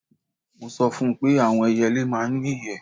Mo sọ fún un pé àwọn ẹyẹlé máa ń ní ìyẹ́